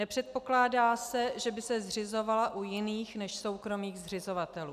Nepředpokládá se, že by se zřizovala u jiných než soukromých zřizovatelů.